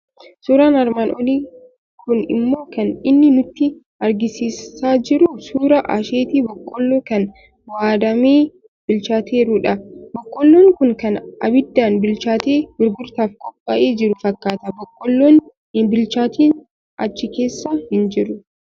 Suuraan armaan olii kun immoo kan inni nutti argisiisaa jiru suuraa asheetii boqqolloo kan waadamee bilchaateerudha. Boqqolloon kun kan abiddaan bilchaatee gurgurtaaf qophaa'ee jiru fakkaata. Boqqolloon hin bilchaatiin achi keessa hin jiru.